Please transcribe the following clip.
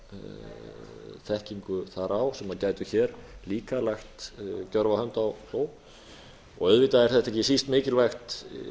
hafa þekkingu þar á sem gætu hér líka lagt gjörva hönd á plóg auðvitað er þetta ekki síst mikilvægt